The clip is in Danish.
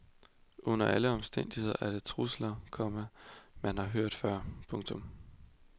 Under alle omstændigheder er det trusler, komma man har hørt før. punktum